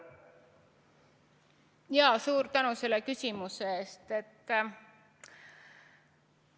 Suur tänu selle küsimuse eest!